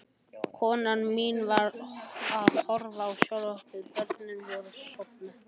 Konan mín var að horfa á sjónvarpið, börnin voru sofnuð.